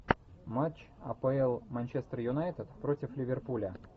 матч апл манчестер юнайтед против ливерпуля